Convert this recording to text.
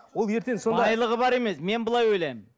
ол ертең сонда байлығы бар емес мен былай ойлаймын